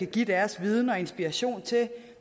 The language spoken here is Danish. give deres viden og inspiration til